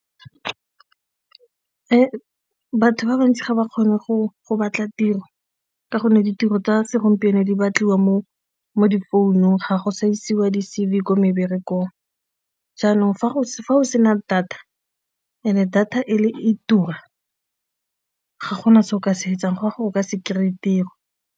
Batho ba bantsi ga ba kgone go go batla tiro ka gonne ditiro tsa segompieno di batliwa mo mo difounung ga go sa isiwa di-C_V ko meberekong, jaanong fa go sena data and-e data e tura ga gona se o ka se etsang gore o kry-e tiro.